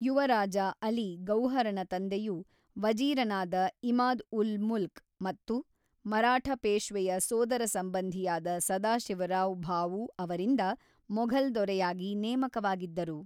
ಯುವರಾಜ ಅಲಿ ಗೌಹರನ ತಂದೆಯು ವಜೀರನಾದ ಇಮಾದ್-ಉಲ್-ಮುಲ್ಕ್ ಮತ್ತು ಮರಾಠ ಪೇಶ್ವೆಯ ಸೋದರಸಂಬಂಧಿಯಾದ ಸದಾಶಿವರಾವ್ ಭಾಊ ಅವರಿಂದ ಮೊಘಲ್ ದೊರೆಯಾಗಿ ನೇಮಕವಾಗಿದ್ದರು.